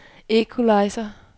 equalizer